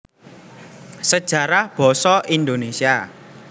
Sejarah Basa Indonesia